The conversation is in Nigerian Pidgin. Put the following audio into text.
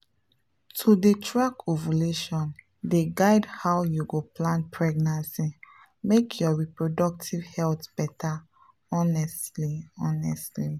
to dey track ovulation dey guide how you go plan pregnancy make your reproductive health better honestly honestly.